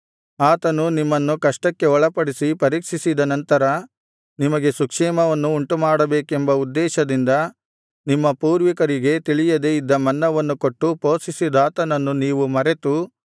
ಆತನು ನಿಮ್ಮನ್ನು ಕಷ್ಟಕ್ಕೆ ಒಳಪಡಿಸಿ ಪರೀಕ್ಷಿಸಿದ ನಂತರ ನಿಮಗೆ ಸುಕ್ಷೇಮವನ್ನು ಉಂಟುಮಾಡಬೇಕೆಂಬ ಉದ್ದೇಶದಿಂದ ನಿಮ್ಮ ಪೂರ್ವಿಕರಿಗೆ ತಿಳಿಯದೆ ಇದ್ದ ಮನ್ನವನ್ನು ಕೊಟ್ಟು ಪೋಷಿಸಿದಾತನನ್ನು ನೀವು ಮರೆತು